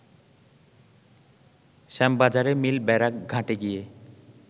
শ্যামবাজারে mill barrack ঘাটে গিয়ে